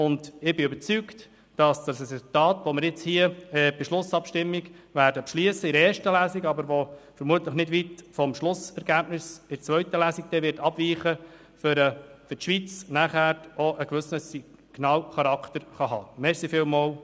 Ich bin überzeugt, dass das Resultat, das wir mit der Schlussabstimmung in erster Lesung beschliessen werden, wovon das Schlussergebnis in zweiter Lesung vermutlich aber nicht weit abweichen wird, für die Schweiz auch einen gewissen Signalcharakter haben könnte.